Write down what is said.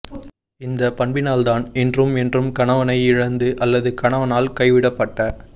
இந்த பண்பினால்தான் இன்றும் என்றும் கணவனை இழந்த அல்லது கணவனால் கைவிடப்பட்ட